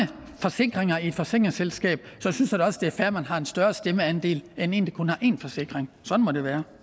forsikringer i et forsikringsselskab så synes jeg da også det er fair at man har en større stemmeandel end en der kun har én forsikring sådan må det være